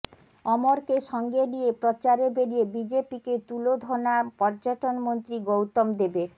অমরকে সঙ্গে নিয়ে প্রচারে বেরিয়ে বিজেপিকে তুলোধনা পর্যটনমন্ত্রী গৌতম দেবের